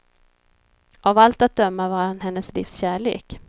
Av allt att döma var han hennes livs kärlek.